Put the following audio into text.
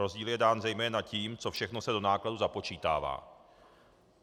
Rozdíl je dán zejména tím, co všechno se do nákladů započítává.